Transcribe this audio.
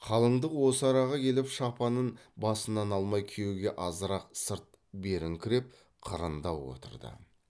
қалыңдық осы араға келіп шапанын басынан алмай күйеуге азырақ сырт беріңкіреп қырындау отырды